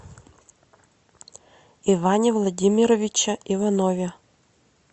иване владимировиче иванове